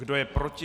Kdo je proti?